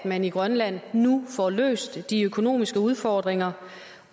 at man i grønland nu får løst de økonomiske udfordringer